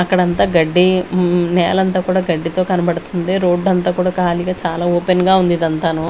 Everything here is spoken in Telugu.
అక్కడ అంతా గడ్డి ఉమ్ నేలంతా కూడా గడ్డితో కనబడుతుంది రోడ్డు అంతా కూడా కాలిగా చాలా ఓపెన్ గా ఉంది ఇది అంతాను.